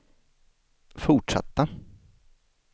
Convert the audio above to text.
fortsatta